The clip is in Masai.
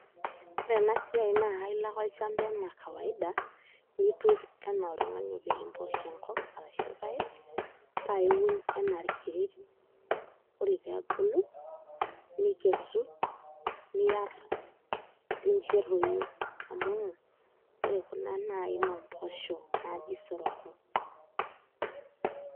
Ore ena siai naa kailo ake olchamba enaa kawaida niturr enaa oltung'ani opik impoosho enkop ashu irpaek paa iun enaa irkererin ore pee ebulu nikesu niarr nincho etoyu amu ore kuna naa aina oo mpoosho naaji isoroko.